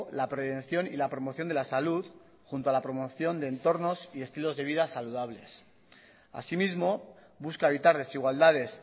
la prevención y la promoción de la salud junto a la promoción de entornos y estilos de vida saludables asimismo busca evitar desigualdades